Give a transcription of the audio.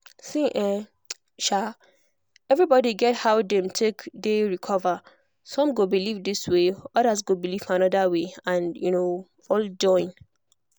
see[um][um] everybody get how dem take dey recover some go believe this way others go believe another way and um all join.